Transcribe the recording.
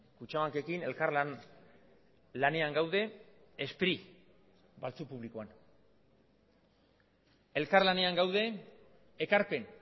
kutxabankekin elkarlanean gaude spri publikoan elkarlanean gaude ekarpen